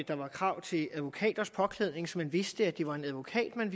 der var krav til advokaters påklædning så man vidste at det var en advokat man